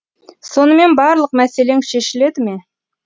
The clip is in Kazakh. сонымен барлық мәселең шешіледі ме